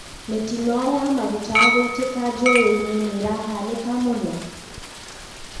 Mitino ya maguta guitika njowe-ini niirahanika muno?